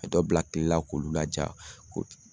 Ka dɔ bila kilela k'olu laja ko